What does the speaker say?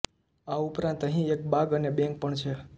આ ઉપરાત અહીં એક બાગ અને બેંક પણ છે